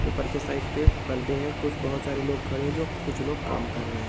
ऊपर के साइड पे परदे हैं। कुछ बोहत सारे लोग खड़े है जो कुछ लोग काम कर रहे --